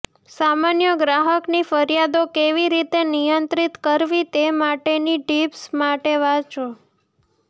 સામાન્ય ગ્રાહકની ફરિયાદો કેવી રીતે નિયંત્રિત કરવી તે માટેની ટીપ્સ માટે વાંચો